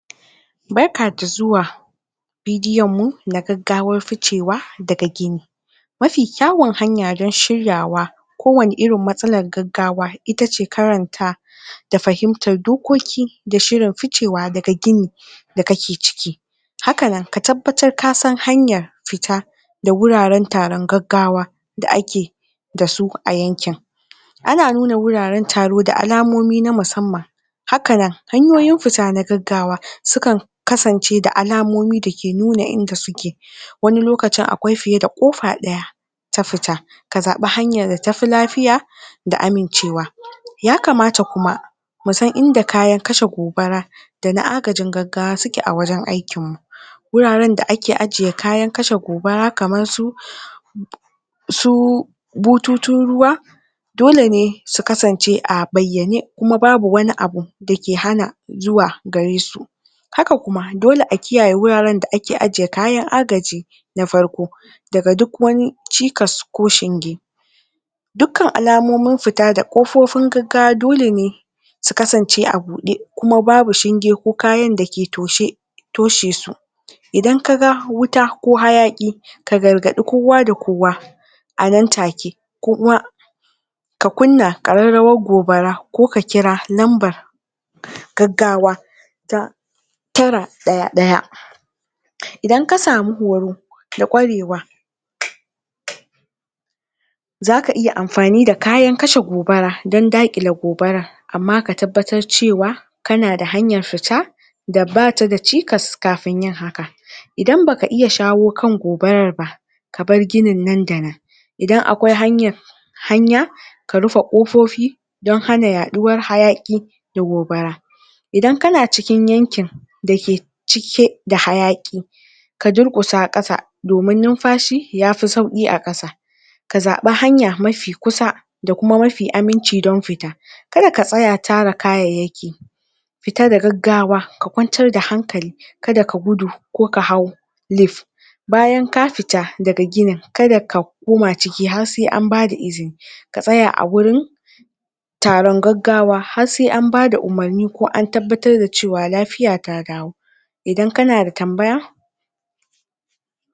barka da zuwa video mu na gaggawar ficewa daga gini mafi ƙyawun hanya dan shiryawa ko wavve irin matsalar gaggawa itace karanta da fahimtar dokoki da shirin ficewa daga gini da kake ciki hakan ka tabbatar kasan hanyar fita da wuraran taran gaggawa da ake dasu a yankin ana nuna wuraran taro da alamomi na musamman hakanan hanyoyin fita na gaggawa sukan kasance da alamomi dake nuna inda suke wani lokacin akwai fiye da kofa ɗaya ta fita ka zaɓe hanyar da tafi lafiya da amincewa ya kamata kuma musan inda kayan kashe gobara dana agajin gaggawa suke a wajan aikin mu guraran da ake ajje kayan kashe gobara kamarsu su bututun ruwa dole ne su kasance a bayyane kuma babu wani abu dake hana zuwa garesu haka kuma dole a kiyaye wuraran da ake ajje kayan agaji na farko daga duk wani cikasa ko shinge dukkan alamomin fita da ƙufofin gaggawa dole ne su kasance a buɗe kuma babu shinge ko kayan dake toshe toshesu idan kaga wuta ko hayaƙi ka gargaɗi kowa da kowa anan take kowa ka kunna ƙararrawar gobara ko ka kira lambar gaggawa ta tara ɗaya ɗaya idan kasamu horo da ƙwarewa zaka iya amfani da kayan kashe gobara dan daƙile gobarar amma ka tabbatar cewa kana da hanyar fita da bata da cikas kafin yin haka idan baka iya shawo kan gobarar ba kabar ginin nan da nan idan aƙwai hanya ka rufe kofofi don hana ya ɗuwara hayaƙi da gobara idan kana cikin yankin dake cike da hayaƙi ka durkusa kasa domin nunfashi yafi sauƙi a ƙasa ka zaɓe hanya mafi kusa kuma mafi aminci don fita kada ka tsaya tara kayayyaki fita da gaggawa ka kwantar da hankali kada ka gudu ko ka hau leef bayan ka fita daga ginin kada ka koma ciki har sai an bada izini ka tsaya a wurin taron gaggawa har sai an bada umarni ko an tabbatar da cewa lafiya ta dawo idan kana da tambaya